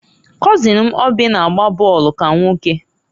kọzin m Oby na-agba bọọlụ ka nwoke.